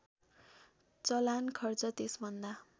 चलान खर्च त्यसभन्दा